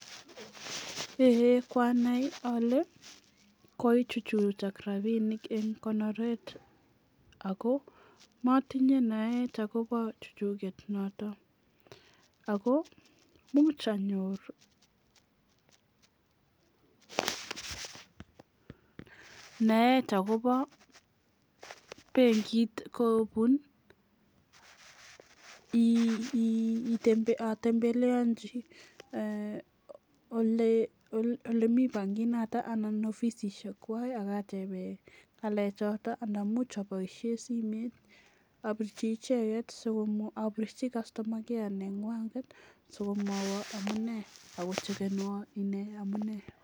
kwanai ale kokoichuchuchak rabinik ing' konoret ako matinye naet akobo chuchuget nootok ako muuch anyor naet akobo benkit kobun atembeleanchi olemi bankit nootok anan ofisishek kwai akatebe ng'alek chootok ana much aboisie simet apirchi icheget, sikomwo, apirchi customer care neng'wang'et sikomwoiwo amune akochekenwa ine amune